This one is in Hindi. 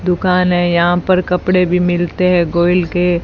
दुकान है यहां पर कपड़े भी मिलते हैं गोईल के।